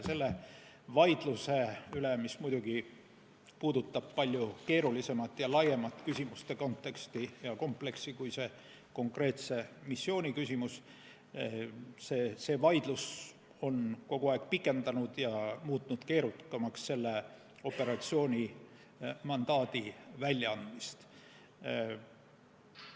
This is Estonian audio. See vaidlus, mis muidugi puudutab palju keerulisemat ja laiemat küsimuste konteksti ja kompleksi kui see konkreetse missiooni küsimus, on muutnud selle operatsiooni mandaadi väljaandmise järjest keerukamaks.